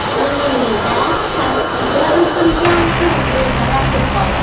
Yangiyo‘lda taksiga o‘tirgan qiz bedarak yo‘qoldi.